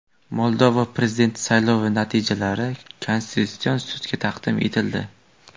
Moldova prezidenti saylovi natijalari Konstitutsion sudga taqdim etildi.